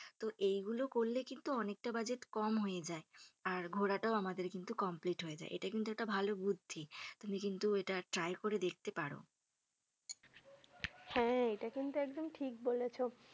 তো এইগুলো করলে কিন্তু অনেকটা বাজেট কম হয়ে যায় আর ঘোরাটাও আমাদের কিন্তু complete হয়ে যায়। এটা কিন্তু একটা ভালো বুদ্ধি। তুমি কিন্তু একবার try করে দেখতে পারো। হ্যা এটা কিন্তু একদম ঠিক বলেছ।